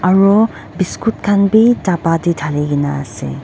aro biscuit khan bi dapa tae thali kaenaase.